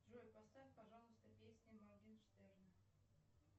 джой поставь пожалуйста песни моргенштерна